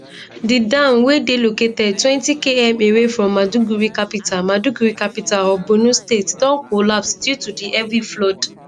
di dam wey dey located 20km away from maiduguri capital maiduguri capital of borno state don collapse due to di heavy flood